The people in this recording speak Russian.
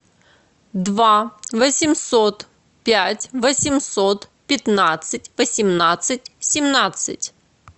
два восемьсот пять восемьсот пятнадцать восемнадцать семнадцать